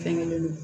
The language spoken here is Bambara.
Fɛnlen don